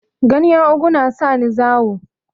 Ganyen ogu na sani zawo